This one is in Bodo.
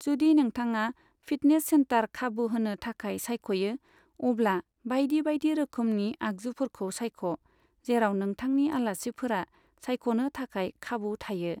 जुदि नोंथाङा फिटनेस सेन्टर खाबु होनो थाखाय सायख'यो, अब्ला बायदि बायदि रोखोमनि आगजुफोरखौ सायख' जेराव नोथांनि आलासिफोरा सायख'नो थाखाय खाबु थायो।